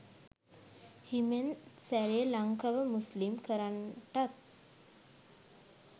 හිමෙන් සැරේ ලංකව මුස්ලිම් කරන්ටත්